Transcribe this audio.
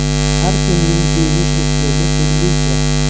Har kimning kiyinish uslubi turlicha.